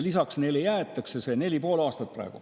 Lisaks jäetakse neile praegu need neli ja pool aastat.